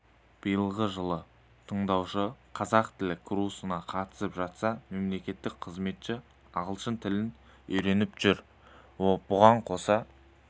биылғы жылы тыңдаушы қазақ тілі курсына қатысып жатса мемлекеттік қызметші ағылшын тілін үйреніп жүр бұған қоса